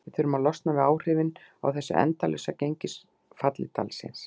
Við þurfum að losna við áhrifin af þessu endalausa gengisfalli dalsins.